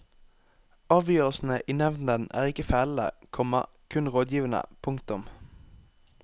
Avgjørelsene i nevnden er ikke fellende, komma kun rådgivende. punktum